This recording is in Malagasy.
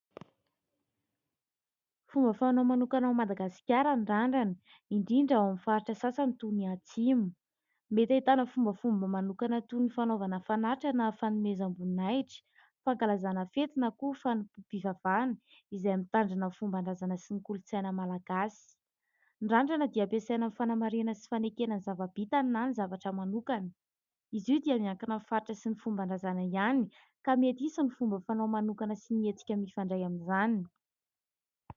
Fomba fanao manokana ao Madagasikara ny randrana indrindra ao amin'ny faritra sasany toy ny atsimo ; mety ahitana fombafomba manokana toy ny fanaovana fanatitra na fanomezam-boninahitra, fankalazana fety na koa fanompom-pivavahana izay mitandrina ho fomban-drazana sy ny kolontsaina malagasy. Ny randrana dia ampiasaina amin'ny fanamarihana sy fanekena ny zava-bitany na ny zavatra manokana. Izy io dia miankina ny faritra sy ny fomban-drazana ihany ka mety hisy ny fomba fanao manokana sy ny hetsika mifandray amin'izany.